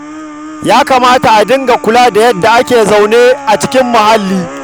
Ya kamata a dinga kula da yadda ake zaune a cikin muhallanmu.